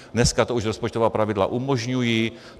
Dneska to už rozpočtová pravidla umožňují.